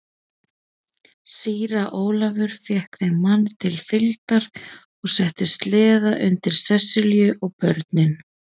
Síra Ólafur fékk þeim mann til fylgdar og setti sleða undir Sesselju og börnin.